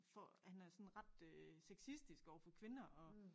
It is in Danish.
For han er sådan ret øh sexistisk overfor kvinder og